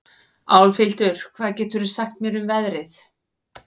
Álfhildur, hvað geturðu sagt mér um veðrið?